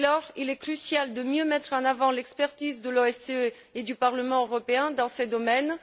Dès lors, il est crucial de mieux mettre en avant l'expertise de l'OSCE et du Parlement européen dans ces domaines